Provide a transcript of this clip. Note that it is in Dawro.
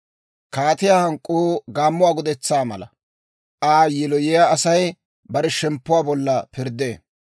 Kaatiyaa hank'k'uu gaammuwaa gudetsaa mala; Aa yiloyiyaa Asay bare shemppuwaa bolla pirddee.